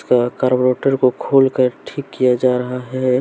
कार्बोटर को खोलकर ठीक किया जा रहा है।